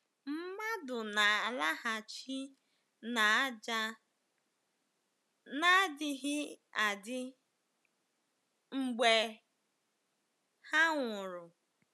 Mmadụ na-alaghachi n’ájá n’adịghị adị ,mgbe ha nwụrụ.